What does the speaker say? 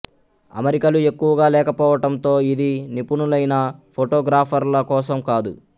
అమరికలు ఎక్కువగా లేకపోవటంతో ఇది నిపుణులైన ఫోటోగ్రఫర్ల కోసం కాదు